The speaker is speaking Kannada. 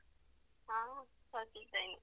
ನಾನು ಸೌಖ್ಯ ಇದ್ದೇನೆ.